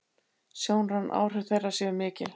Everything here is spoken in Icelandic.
Sjónræn áhrif þeirra séu mikil.